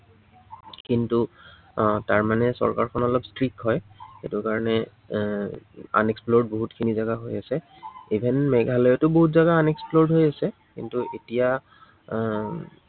কিন্তু, আহ তাৰমানে চৰকাৰখন অলপ strict হয়। সেইটো কাৰনে এৰ unexplored বহুতখিনি জাগা হৈ আছে। even মেঘালয়তো বহুত জাগা unexplored হৈ আছে। কিন্তু এতিয়া আহ